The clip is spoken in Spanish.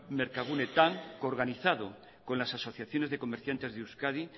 merkagunetan que organizado con las asociaciones de comerciantes de euskadi